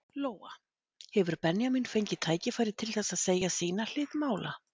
Lóa: Hefur Benjamín fengið tækifæri til þess að segja sína hlið mála?